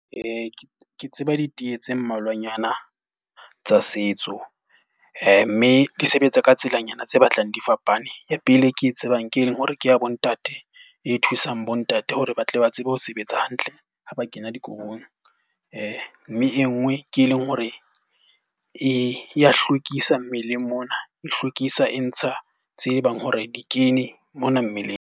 Ke tseba diteye tse mmalwanyana tsa setso. Mme di sebetsa ka tsela nyana tse batlang di fapane. Ya pele e ke e tsebang ke ke ya bo ntate e thusang bo ntate hore ba tle ba ba tsebe ho sebetsa hantle ha ba kena dikobong. Mme e nngwe ke e leng hore e ya hlwekisa mmeleng mona, e hlwekisa e ntsha tsebang hore di kene mona mmeleng.